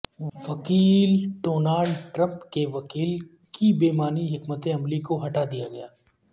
وکیل Donald Trump کے وکیل کی بے معنی حکمت عملی کو ہٹا دیا گیا